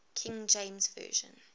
king james version